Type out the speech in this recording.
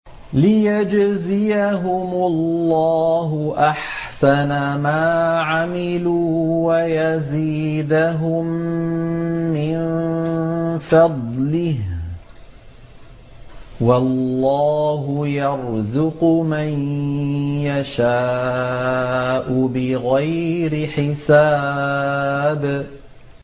لِيَجْزِيَهُمُ اللَّهُ أَحْسَنَ مَا عَمِلُوا وَيَزِيدَهُم مِّن فَضْلِهِ ۗ وَاللَّهُ يَرْزُقُ مَن يَشَاءُ بِغَيْرِ حِسَابٍ